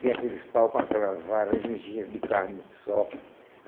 Tinha aqueles pau com aquelas varas de de carne de sol.